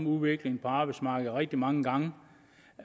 udviklingen på arbejdsmarkedet rigtig mange gange